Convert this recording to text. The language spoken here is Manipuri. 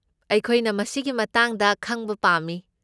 ꯑꯩꯈꯣꯏꯅ ꯃꯁꯤꯒꯤ ꯃꯇꯥꯡꯗ ꯈꯪꯕ ꯄꯥꯝꯃꯤ꯫